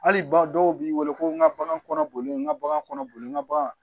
Hali ba dɔw b'i weele ko n ka bagan kɔnɔ boli n ga bagan kɔnɔ boli n ka bagan